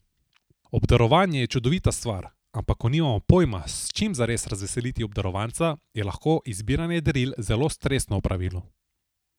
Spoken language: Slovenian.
Obdarovanje je čudovita stvar, ampak ko nimamo pojma, s čim zares razveseliti obdarovanca, je lahko izbiranje daril zelo stresno opravilo.